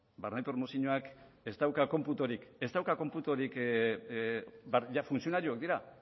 barne promozioak ez dauka konputorik funtzionarioak dira